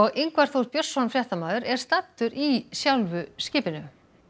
Ingvar Þór Björnsson fréttamaður er staddur í skipinu